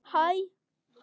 Lífið sjálft.